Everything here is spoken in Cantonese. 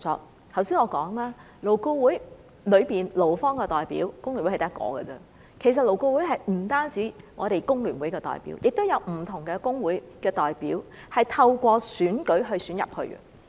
我剛才已說過，勞顧會中的勞方代表，工聯會只佔一席，其實勞顧會不止有工聯會的代表，也有不同工會的代表，他們是透過選舉加入的。